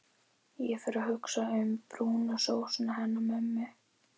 Og fer að hugsa um brúnu sósuna hennar mömmu.